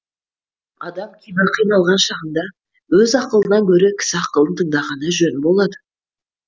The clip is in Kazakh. адам кейбір қиналған шағында өз ақылынан гөрі кісі ақылын тыңдағаны жөн болады